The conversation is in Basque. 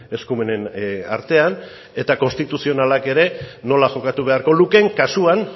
eskumenen artean eta konstituzionalak ere nola jokatu beharko lukeen kasuan